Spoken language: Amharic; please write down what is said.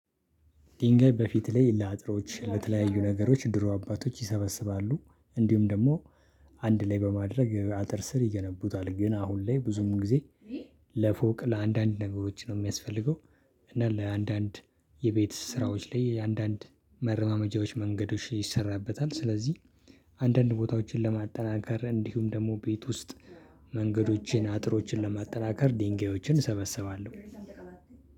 ድንጋይ በፊት ላይ ለአጥሮች ለተለያዩ ነገሮች ድሮ አባቶች ይሰበስባሉ እንዲሁም ደግሞ አንድ ላይ በማድረግ አጥር ስር ይገነቡታል። ግን አሁን ላይ ብዙም ጊዜ ለፎቅ ለአንዳንድ ነገሮች ነው የሚያስፈልገው። እና ለአንዳንድ የቤት ስራዎች ላይ አንዳንድ መረማመጃዎች መንገዶች ይሰራበታል። ስለዚህ አንዳንድ ቦታዎችን ለማጠናከር እንዲሁም ደግሞ ቤት ውስጥ መንገዶችን አጥሮችን ለማጠናከር ድንጋዮችን እሰበሰባለው።